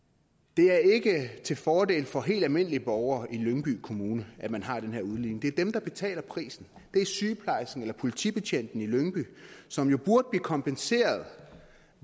det er ikke til fordel for de helt almindelige borgere i lyngby kommune at man har den her udligning det er dem der betaler prisen det er sygeplejersken eller politibetjenten i lyngby som jo burde blive kompenseret